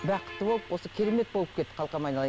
бақытты болып осы керемет болып кет қалқам айналайын